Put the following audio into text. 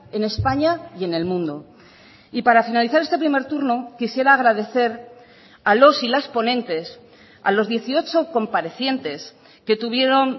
en españa y en el mundo y para finalizar este primer turno quisiera agradecer a los y las ponentes a los dieciocho comparecientes que tuvieron